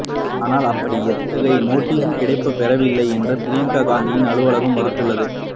ஆனால் அப்படி எத்தகைய நோட்டீஸும் கிடைக்கப் பெறவில்லை என்று பிரியங்கா காந்தியின் அலுவலகம் மறுத்துள்ளது